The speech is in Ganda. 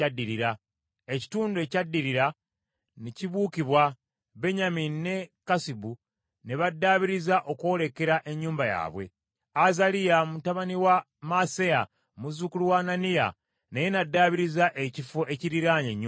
Ekitundu ekyaddirira ne kibuukibwa, Benyamini ne Kassubu ne baddaabiriza okwolekera ennyumba yaabwe, Azaliya mutabani wa Maaseya muzzukulu wa Ananiya naye n’addaabiriza ekifo ekiriraanye ennyumba ye.